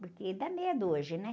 Porque dá medo hoje, né?